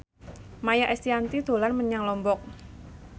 Maia Estianty dolan menyang Lombok